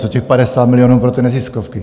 Co těch 50 milionů pro neziskovky?